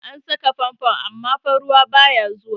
An saka fanfon amma fa ruwa baya zuwa.